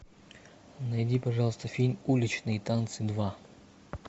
найди пожалуйста фильм уличные танцы два